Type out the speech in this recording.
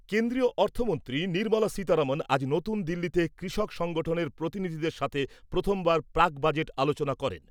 কেন্দ্রীয় অর্থমন্ত্রী নির্মলা সীতারমন আজ নতুন দিল্লিতে কৃষি সংগঠনের প্রতিনিধিদের সাথে প্রথমবার প্রাক বাজেট আলোচনা করেন ।